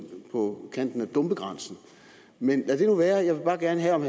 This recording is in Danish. på kanten af dumpegrænsen men lad det nu være jeg vil bare gerne høre om